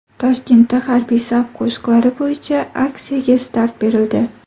Toshkentda harbiy saf qo‘shiqlari bo‘yicha aksiyaga start berildi.